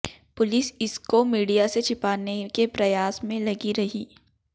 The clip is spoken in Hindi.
पुलिस इस को मीडिया से छिपाने के प्रयास में लगी रही